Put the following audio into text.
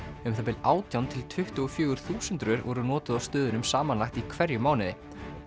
um það bil átján til tuttugu og fjögur þúsund rör voru notuð á stöðunum samanlagt í hverjum mánuði